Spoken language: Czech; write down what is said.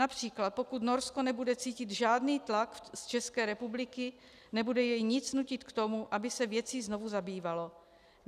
Například pokud Norsko nebude cítit žádný tlak z České republiky, nebude jej nic nutit k tomu, aby se věcí znovu zabývalo.